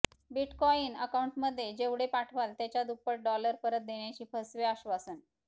bitcoin अकाउंटमध्ये जेवढे पाठवाल त्याच्या दुप्पट डॉलर परत देण्याचे फसवे आश्वासन